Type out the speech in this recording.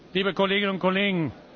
liebe Kolleginnen und Kollegen!